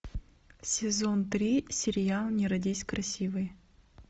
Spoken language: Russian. сезон три сериал не родись красивой